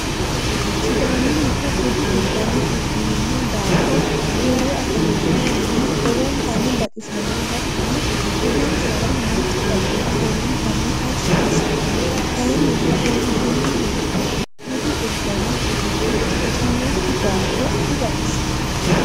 sidaamunnita budu udanno udirinno daafo uure afamanno manni lowontanni baxisanno hatono budinsara noonsa baxili lowontanni tashi asanno kayinnila uuritinno beeto budu udanno udidhinoki daafo dibaxisanno.